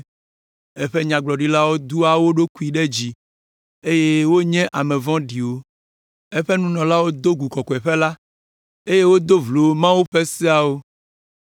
Eƒe nyagblɔɖilawo doa wo ɖokuiwo ɖe dzi, eye wonye ame vɔ̃ɖiwo. Eƒe nunɔlawo do gu kɔkɔeƒe la, eye wodo vlo Mawu ƒe seawo.